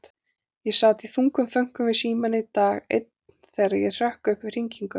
Ég sat í þungum þönkum við símann dag einn þegar ég hrökk upp við hringingu.